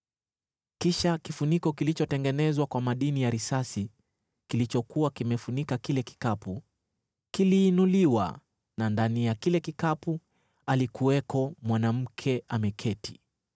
Kisha kifuniko kilichotengenezwa kwa madini ya risasi kilichokuwa kimefunika kile kikapu, kiliinuliwa na ndani ya kile kikapu alikuwako mwanamke ameketi!